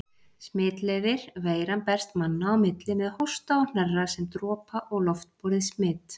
Smitleiðir Veiran berst manna á milli með hósta og hnerra sem dropa- og loftborið smit.